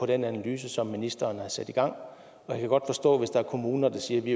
den analyse som ministeren har sat i gang og jeg kan godt forstå hvis der er kommuner der siger at de